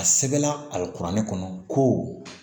A sɛbɛnna a bɛ kuranɛ kɔnɔ ko